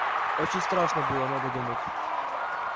очень страшно было надо думать